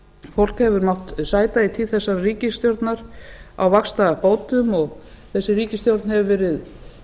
fólk hefur mátt sæta í tíð þessarar ríkisstjórnar á vaxtabótum og þessi ríkisstjórn hefur verið